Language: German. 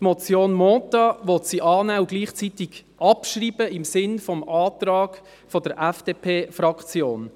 Die Motion Mentha will sie annehmen und gleichzeitig abschreiben, im Sinne des Antrags der FDP-Fraktion.